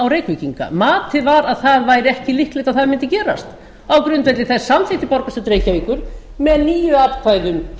reykvíkinga matið var að það væri ekki líklegt að það mundi gerast á grundvelli þess samþykkti borgarstjórn reykjavíkur með